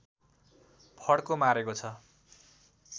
फड्को मारेको छ